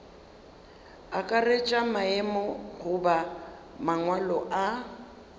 akaretša maemo goba mangwalo a